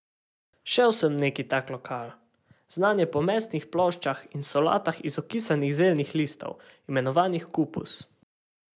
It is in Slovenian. Šel sem v neki tak lokal, znan je po mesnih ploščah in solatah iz okisanih zeljnih listov, imenovanih kupus.